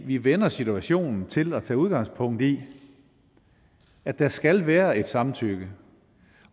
vi vender situationen til at tage udgangspunkt i at der skal være et samtykke